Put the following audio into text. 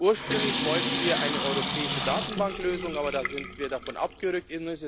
machen? Ursprünglich wollten wir eine europäische Datenbanklösung. Aber davon sind wir abgerückt.